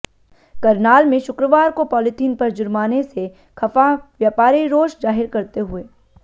करनाल में शुक्रवार को पाॅलीथीन पर जुर्माने से खफा व्यापारी रोष जाहिर करते हुए